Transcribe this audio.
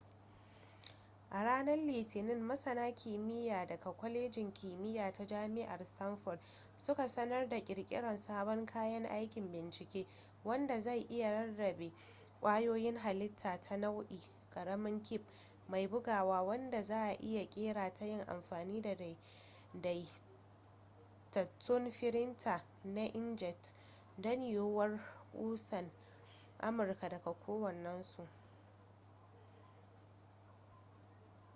a ranar litinin masana kimiyya daga kwalejin kimiyya ta jami'ar stanford suka sanar da kirkirar sabon kayan aikin bincike wanda zai iya rarrabe kwayoyin hallita ta nau'i ƙaramin cip mai buguwa wanda za'a iya kera ta yin amfani da daidaitattun firinta na inkjet don yiwuwar kusan amurka ɗaya kowannensu